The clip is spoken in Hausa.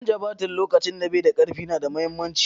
Canja baturi lokacin da bai da karfi na da mahimmanci.